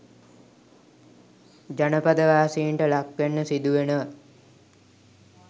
ජනපදවාසීන්ට ලක්වෙන්න සිදුවෙනවා